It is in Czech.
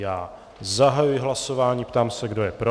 Já zahajuji hlasování, ptám se, kdo je pro.